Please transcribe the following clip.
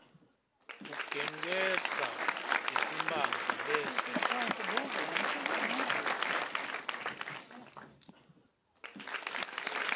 ugengedza letimphandze bese